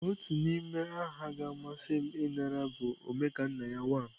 Otu n'ime aha ga-amasị m ịnara bụ Omekanna ya one.